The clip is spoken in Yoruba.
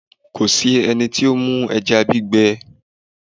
Kò sí ẹni tí ó mú ẹja gbígbẹ